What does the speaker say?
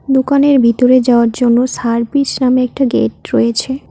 দোকানের ভিতরে যাওয়ার জন্য সার্ভিস নামে একটা গেট রয়েছে।